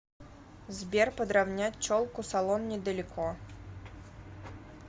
сбер подравнять челку салон недалеко